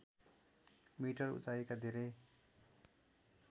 metre उचाइका धेरै